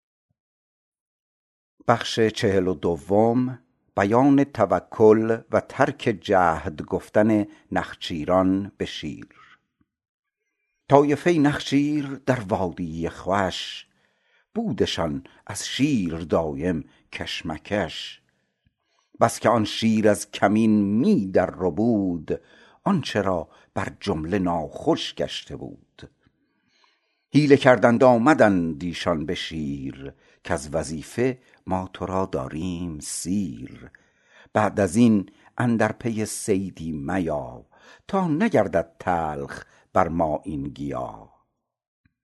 طایفه نخچیر در وادی خوش بودشان از شیر دایم کش مکش بس که آن شیر از کمین می در ربود آن چرا بر جمله ناخوش گشته بود حیله کردند آمدند ایشان بشیر کز وظیفه ما ترا داریم سیر بعد ازین اندر پی صیدی میا تا نگردد تلخ بر ما این گیا